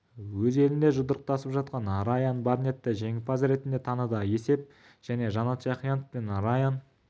өз елінде жұдырықтасып жатқан райан барнетті жеңімпаз ретінде таныды есеп және жанат жақиянов пен райан